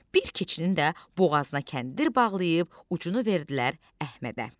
Bir keçinin də boğazına kəndir bağlayıb, ucunu verdilər Əhmədə.